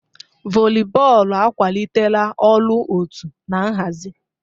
Volibọọlụ akwalitela ọrụ òtú na nhazi.